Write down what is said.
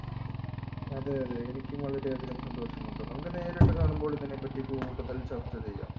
അതെ അതെ എനിക്കും വളരെയധികം സന്തോഷമുണ്ട് നമുക്ക് നേരിട്ട് കാണുമ്പോൾ ഇതിനെപ്പറ്റി കൂടുതൽ ചർച്ച ചെയ്യാം